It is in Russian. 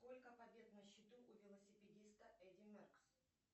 сколько побед на счету у велосипедиста эдди меркс